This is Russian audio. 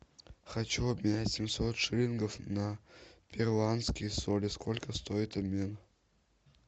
хочу обменять семьсот шиллингов на перуанские соли сколько стоит обмен